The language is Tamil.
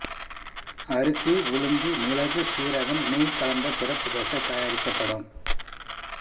அரிசி உளுந்து மிளகு சீரகம் நெய் கலந்த சிறப்பு தோசை தயாரிக்கப்படும்